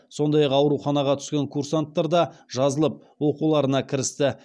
сондай ақ ауруханаға түскен курсанттар да жазылып оқуларына кірісті